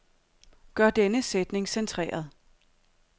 Gør denne sætning centreret.